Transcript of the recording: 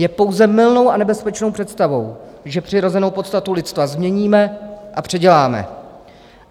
Je pouze mylnou a nebezpečnou představou, že přirozenou podstatu lidstva změníme a předěláme.